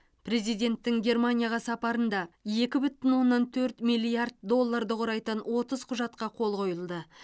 президенттің германияға сапарында екі бүтін оннан төрт миллиард долларды құрайтын отыз құжатқа қол қойылды